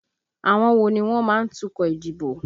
Àwọn wo ni wọ́n má ń tukọ̀ ìdìbò?